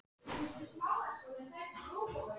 Suður í Dölum bíða tugir mála óafgreidd.